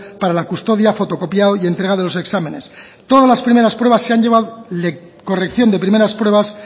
para la custodia fotocopia y entrega de los exámenes todas las primeras pruebas corrección de primeras pruebas